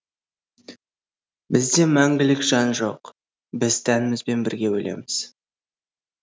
бізде мәңгілік жан жоқ біз тәнімізбен бірге өлеміз